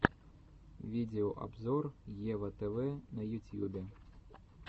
видеообзор ева тв на ютьюбе